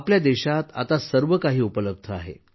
आपल्या देशात आता सर्व काही उपलब्ध आहे